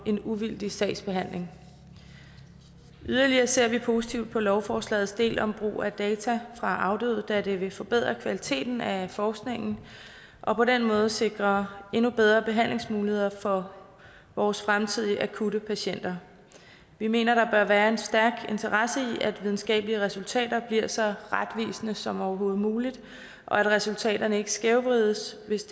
en uvildig sagsbehandling yderligere ser vi positivt på lovforslagets del om brug af data fra afdøde da det vil forbedre kvaliteten af forskningen og på den måde sikre endnu bedre behandlingsmuligheder for vores fremtidige akutte patienter vi mener der bør være en stærk interesse i at videnskabelige resultater bliver så retvisende som overhovedet muligt og at resultaterne ikke skævvrides hvis